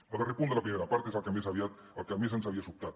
el darrer punt de la primera part és el que més ens havia sobtat